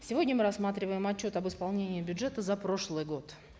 сегодня мы рассматриваем отчет об исполнении бюджета за прошлый год